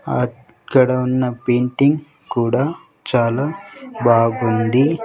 అక్కడ ఉన్న పెయింటింగ్ కుడా చాలా బాగుంది.